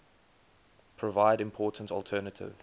provide important alternative